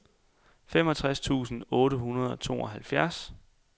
femogtres tusind otte hundrede og tooghalvfjerds